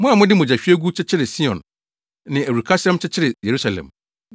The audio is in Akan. Mo a mode mogyahwiegu kyekyeree Sion ne awurukasɛm kyekyeree Yerusalem.